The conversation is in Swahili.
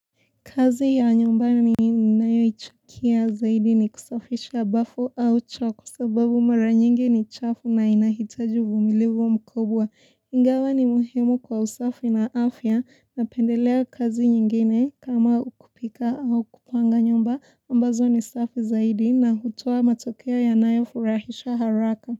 Kazi ya nyumbani ninayo chukia zaidi ni kusafisha bafu au choo kwa sababu mara nyingi ni chafu na inahitaji uvumilivu mkubwa. Ingawa ni muhimu kwa usafi na afya napendelea kazi nyingine kama kupika au kupanga nyumba ambazo ni safi zaidi na hutoa matokea yanayo furahisha haraka.